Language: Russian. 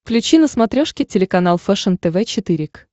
включи на смотрешке телеканал фэшен тв четыре к